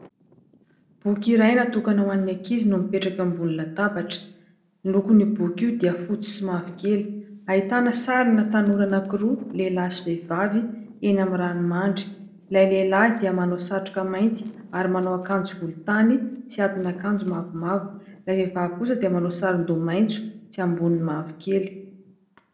Boky iray natokana ho an'ny ankizy no mipetraka ambony latabatra. Ny lokon'io boky io dia fotsy sy mavokely. Ahitana sarina tanora anankiroa lehilahy sy vehivavy eny amin'ny ranomandry. Ilay lehilahy dia manao satroka mainty ary manao akanjo volontany sy atin'akanjo mavomavo ; ilay vehivavy kosa dia manao sarondoha maitso sy amboniny mavokely.